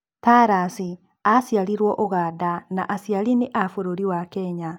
Tarus aciarirwo Ũganda na aciari nĩ a bũrũri wa Kenya.